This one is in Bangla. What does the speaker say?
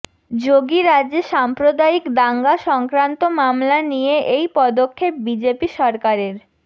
যোগীরাজ্যে সাম্প্রয়িক দাঙ্গা সংক্রান্ত মামলা নিয়ে এই পদক্ষেপ বিজেপি সরকারের